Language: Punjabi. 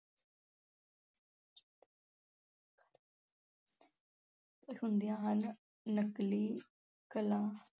ਹੁੰਦੀਆਂ ਹਨ, ਨਕਲੀ ਕਲਾ